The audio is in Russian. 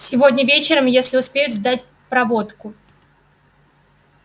сегодня вечером если успеют сделать проводку